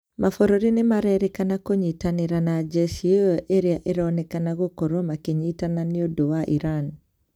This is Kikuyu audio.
Mabũrũri nĩmarerikana kũnyitanĩra na jesi ĩo ĩrĩa ĩronekana gũkorwa makinyitana nĩũndũ wa Iran